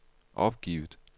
opgivet